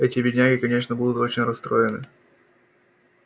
эти бедняги конечно будут очень расстроены